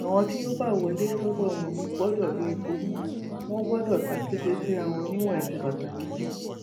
àwọn tí yóò bá wọlé sọdọ wọn gbọdọ lo ìbomú wọn gbọdọ tàkété síra wọn níwọn ẹsẹ bàtà méjì